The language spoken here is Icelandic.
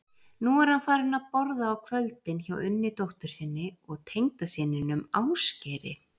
Nú er hann farinn að borða á kvöldin hjá Unni dóttur sinni og tengdasyninum Ásgeiri.